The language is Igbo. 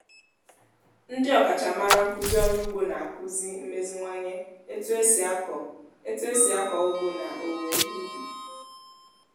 ndị ọkachamara nkuzi orụ ugbo na-akuzi mmeziwanye etu esi ako etu esi ako ugbo na owuwe ihe ubi